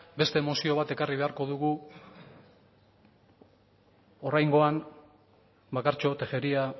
beste mozio bat ekarrik beharko dugu oraingoan bakartxo tejeria